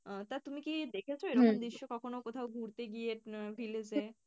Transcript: আহ তা তুমি কি দেখেছো দৃশ্য কখনো কোথাও ঘুরতে গিয়ে আহ village এ?